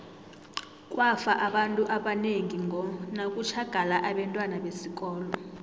kwafa abantu abanengi ngo nakutjhagala abentwana besikolo